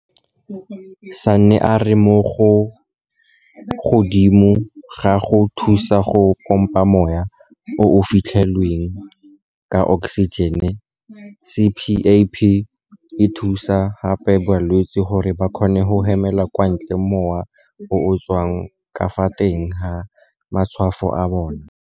Sanne a re mo godimo ga go thusa go pompa mowa o o fetlhilweng ka oksijene, CPAP e thusa gape balwetse gore ba kgone go hemela kwa ntle mowa o o tswang ka fa teng ga matshwafo a bona.